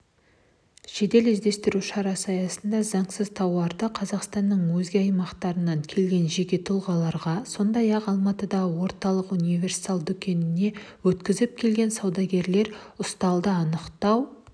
жедел-іздестіру шарасы аясында заңсыз тауарды қазақстанның өзге аймақтарынан келген жеке тұлғаларға сондай-ақ алматыдағы орталық универсал дүкеніне өткізіп келген саудагерлер ұсталды анықтау